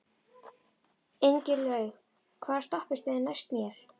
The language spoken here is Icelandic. Ingilaug, hvaða stoppistöð er næst mér?